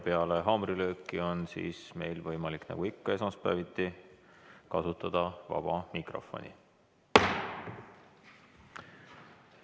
Peale haamrilööki on meil võimalik, nagu ikka esmaspäeviti, kasutada vaba mikrofoni.